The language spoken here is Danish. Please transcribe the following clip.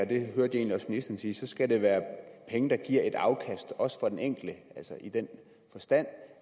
det hørte jeg egentlig også sige så skal det være penge der giver et afkast også for den enkelte i den forstand